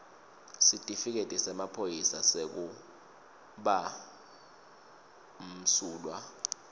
sitifiketi semaphoyisa sekubamsulwa